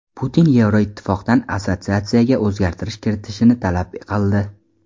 Putin Yevroittifoqdan assotsiatsiyaga o‘zgartirish kiritishni talab qildi.